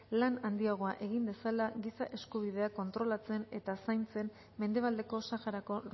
lan handiagoa egin dezala giza eskubideak kontrolatzen eta zaintzen mendebaldeko saharako